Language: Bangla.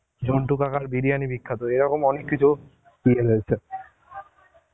ঝন্টু কাকার বিরিয়ানি বিখ্যাত, এই রকম অনেক কিছু